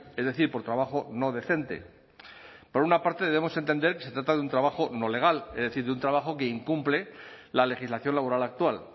es decir por trabajo no decente por una parte debemos entender que se trata de un trabajo no legal es decir de un trabajo que incumple la legislación laboral actual